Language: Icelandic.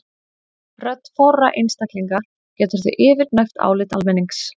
Rödd fárra einstaklinga getur því yfirgnæft álit almennings.